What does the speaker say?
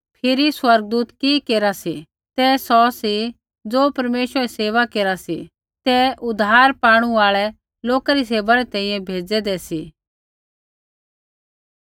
फिरी स्वर्गदूत कि केरा सी तै सौ सी ज़ो परमेश्वरा री सेवा केरा सी तिन्हां बै उद्धार पाणु आल़ै लोका री सेवा री तैंईंयैं भेज़ूदा सा